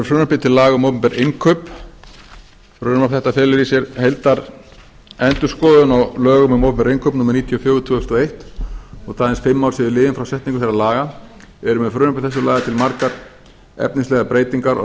frumvarpi til laga um opinber innkaup frumvarp þetta felur í sér heildarendurskoðun á lögum um opinber innkaup númer níutíu og fjögur tvö þúsund og eitt þótt aðeins fimm ár séu liðin frá setningu þeirra laga eru með frumvarpi þessu lagðar til margar efnislegar breytingar og